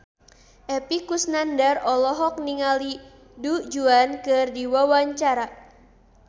Epy Kusnandar olohok ningali Du Juan keur diwawancara